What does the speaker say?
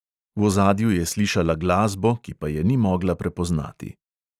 V ozadju je slišala glasbo, ki pa je ni mogla prepoznati.